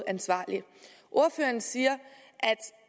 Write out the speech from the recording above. ansvarligt ordføreren siger